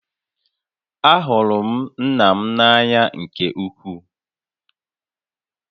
Ahụrụ m nna m n'anya nke ukwuu